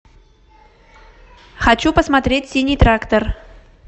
хочу посмотреть синий трактор